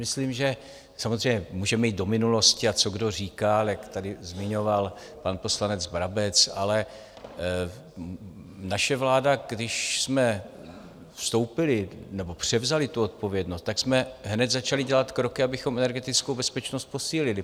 Myslím, že samozřejmě můžeme jít do minulosti a co kdo říkal, jak tady zmiňoval pan poslanec Brabec, ale naše vláda, když jsme vstoupili nebo převzali tu odpovědnost, tak jsme hned začali dělat kroky, abychom energetickou bezpečnost posílili.